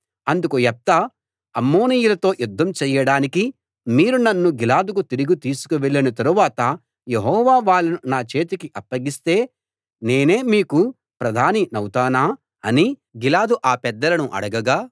అందుకు యెఫ్తా అమ్మోనీయులతో యుద్ధం చేయడానికి మీరు నన్ను గిలాదుకు తిరిగి తీసుకు వెళ్లిన తరువాత యెహోవా వాళ్ళను నా చేతికి అప్పగిస్తే నేనే మీకు ప్రధానినౌతానా అని గిలాదు ఆ పెద్దలను అడగగా